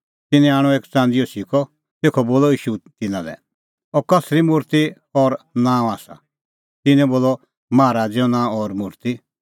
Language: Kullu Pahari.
तिन्नैं आणअ एक च़ंदीओ सिक्कअ तेखअ बोलअ ईशू तिन्नां लै एथ कसरी मुर्ति और नांअ आसा तिन्नैं बोलअ माहा राज़ैओ नांअ और मुर्ति